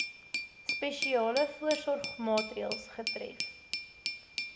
spesiale voorsorgmaatreëls getref